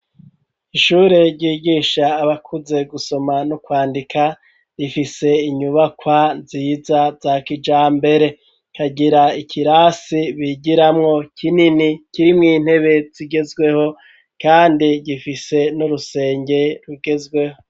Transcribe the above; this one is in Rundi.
Ishure ryigisha abakuze gusoma n'ukwandika, rifise inyubakwa nziza za kijambere, kagira ikirasi bigiramwo kinini kirimwo intebe zigezweho, kandi gifise n'urusenge rugezweho.